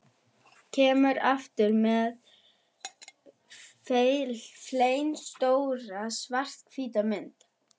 Kemur aftur með flennistóra, svarthvíta mynd.